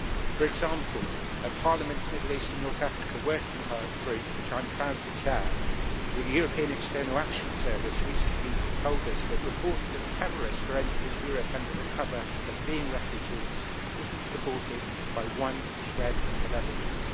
For example, at Parliament's Middle East and North African working group, which I am proud to chair, the European External Action Service recently told us that reports that terrorists were entering Europe under the cover of being refugees are not supported by one shred of evidence.